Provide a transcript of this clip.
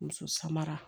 Muso samara